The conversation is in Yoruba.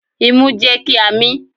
Imú jẹ́ kí a mín.